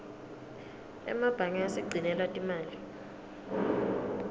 emebange asigcinela timali